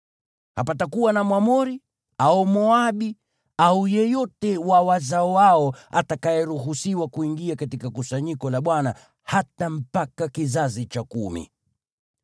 Hapatakuwa na Mwamoni au Mmoabu au yeyote wa wazao wao atakayeruhusiwa kuingia katika kusanyiko la Bwana , hata mpaka kizazi cha kumi.